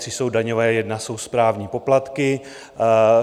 Tři jsou daňové, jedna jsou správní poplatky.